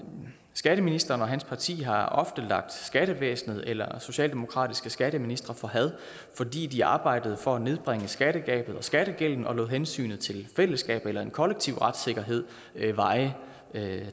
skatteministeren og hans parti har ofte lagt skattevæsenet eller socialdemokratiske skatteministre for had fordi de arbejdede for at nedbringe skattegabet og skattegælden og lod hensynet til fællesskabet eller en kollektiv retssikkerhed veje